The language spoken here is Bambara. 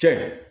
Cɛ